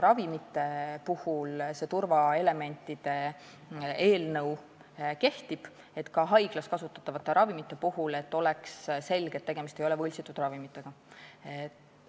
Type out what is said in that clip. Samas kehtib see turvaelementide teema ka haiglaravimite puhul, ka haiglas kasutatavate ravimite puhul peaks olema selge, et tegemist ei ole võltsitud ravimitega.